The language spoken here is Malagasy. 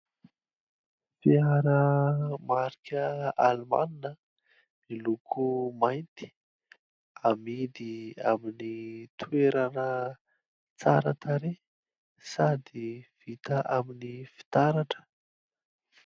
Fiara marika almana, miloko mainty, amidy amin'ny toerana tsara tarehy sady vita amin'ny fitaratra.